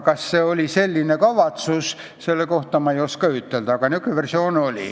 Kas oli selline kavatsus, seda ma ei oska ütelda.